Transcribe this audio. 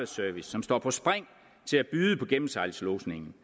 service som står på spring til at byde på gennemsejlingslodsningen